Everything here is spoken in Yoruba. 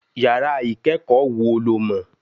Yàrá ìkẹ́kọ̀ọ́ wo lo mọ̀?